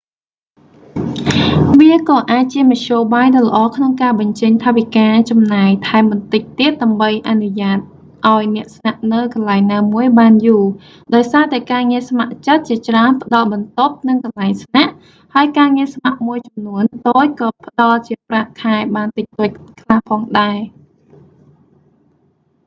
វាក៏អាចជាមធ្យោបាយដ៏ល្អក្នុងការបញ្ចេញថវិកាចំណាយថែមបន្តិចទៀតដើម្បីអនុញ្ញាតឱ្យអ្នកស្នាក់នៅកន្លែងណាមួយបានយូរ ដោយសារតែការងារស្ម័គ្រចិត្តជាច្រើនផ្តល់បន្ទប់ និងកន្លែងស្នាក់ ហើយការងារស្ម័គ្រមួយចំនួនតូចក៏ផ្តល់ជាប្រាក់ខែបានតិចតួចខ្លះផងដែរ